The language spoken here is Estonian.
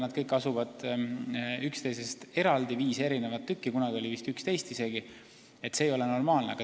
Need kõik asuvad üksteisest eraldi, seal on viis erinevat tükki – see ei ole normaalne.